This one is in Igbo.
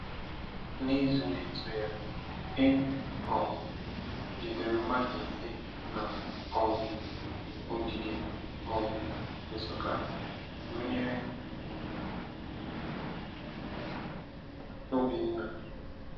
N’izu na-eso ya, e um jidere mmadụ ise na um ogige um Nsukka, gụnyere Obinna.